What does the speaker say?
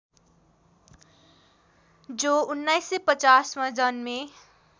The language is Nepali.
जो १९५० मा जन्मे